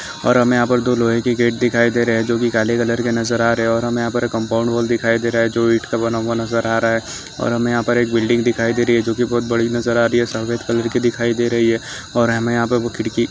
और हमे यहा पर दो लोहे की गेट दिखाई दे रहे है जोक काले कलर के नज़र आ रहे है और यहा पर हमे कंपाउंड व्हाल दिखाई दे रहा है जो इट का बना हुआ नज़र आ रहा है और यहा पर हमे एक बिल्डिंग दिखाई दे रही है जोकि बहोत बड़ी नज़र आ रही है सफेद कलर की दिखाई दे रही है और हमे यहा पे खिडकी--